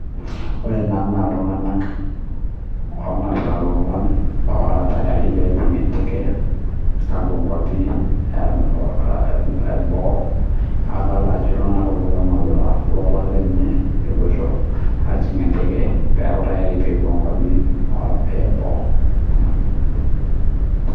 Ore ena naa iltungana oo napita loolan ora tayari pee ejing enteke apuo nkwapii eboo adolita Ajo iltung'ana oo napita lolan lenye epuoito ajing enteke pee eku tayari pee epuo nkwapii eboo